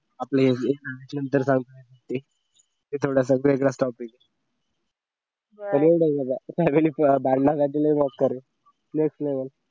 आपलं हे सांगितल्या नंतरचा थोडासा वेगळा topic प्रयत्न